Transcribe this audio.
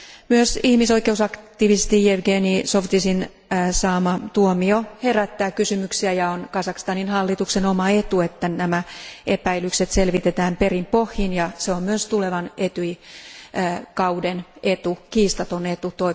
Myös ihmisoikeusaktivisti Jevgeni Zhovtisin saama tuomio herättää kysymyksiä, ja on Kazakstanin hallituksen oma etu, että nämä epäilykset selvitetään perin pohjin, ja se on myös tulevan ETYJin kauden kiistaton etu.